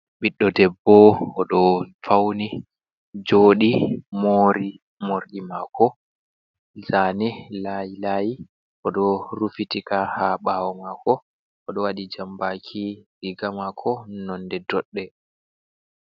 Ɓiɗɗo debbo o ɗo fauni joɗi. Mori morɗii mako zane, laylayi oɗo rufitika ha ɓawo mako, o ɗo waɗi jambaki. Riga mako nonde doɗɗe.